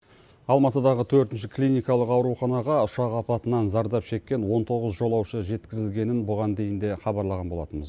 алматыдағы төртінші клиникалық ауруханаға ұшақ апатынан зардап шеккен он тоғыз жолаушы жеткізілгенін бұған дейін де хабарлаған болатынбыз